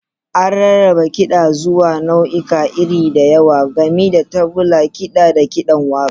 An rarraba kida zuwa nau'ikan iri da yawa, gami da tagulla, kaɗa, da kiɗan waƙa.